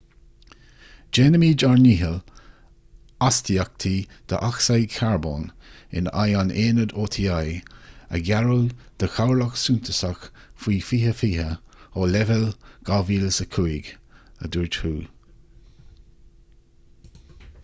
déanfaimid ár ndícheall astaíochtaí dé-ocsaíd charbóin in aghaidh an aonaid oti a ghearradh de chorrlach suntasach faoi 2020 ó leibhéal 2005 a dúirt hu